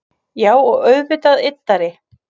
Já og auðvitað yddari